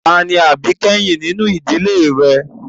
Ta ni àbíkẹ́yìn nínú ìdílé rẹ?